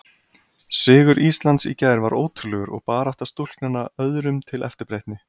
Sigur Íslands í gær var ótrúlegur og barátta stúlknanna öðrum til eftirbreytni.